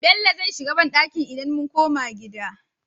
Bello zai shiga banɗaki idan mun koma gida